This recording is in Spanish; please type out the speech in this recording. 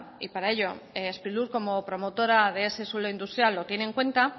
y para ello sprilur como promotora de ese suelo industrial lo tiene en cuenta